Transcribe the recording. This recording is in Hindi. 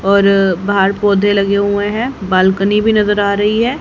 और बाहर पौधे लगे हुए हैं बालकनी भी नजर आ रही है।